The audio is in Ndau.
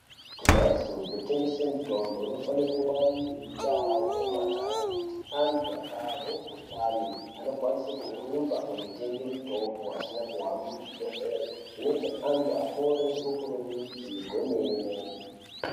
Kumhatso dzinotengese mutombo anofane kungwarire mundaa nemumagange kuti antu akahwe mukhuhlani anokwanise kurumba kotenge mutombo asine kuhambe kuzvibhedhleri zvinoti antu apore ngekukurumidze kwemene.